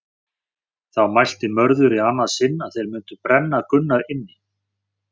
Þá mælti Mörður í annað sinn að þeir mundi brenna Gunnar inni.